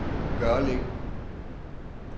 Gørlev